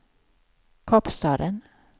Kapstaden